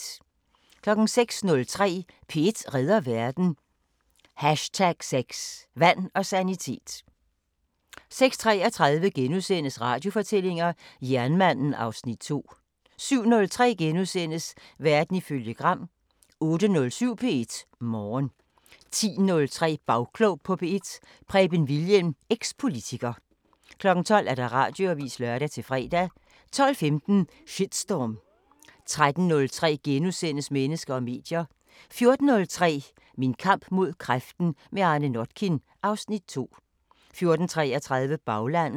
06:03: P1 redder verden: #6 Vand og sanitet 06:33: Radiofortællinger: Jernmanden (Afs. 2)* 07:03: Verden ifølge Gram * 08:07: P1 Morgen 10:03: Bagklog på P1: Preben Wilhjelm, eks-politiker 12:00: Radioavisen (lør-fre) 12:15: Shitstorm 13:03: Mennesker og medier * 14:03: Min kamp mod kræften – med Arne Notkin (Afs. 2) 14:33: Baglandet